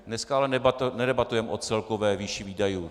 Dneska ale nedebatujeme o celkové výši výdajů.